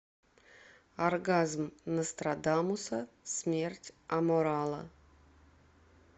оргазм нострадамуса смерть аморала